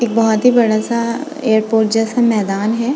एक बहुत ही बड़ा सा एयरपोर्ट जैसा मैदान है।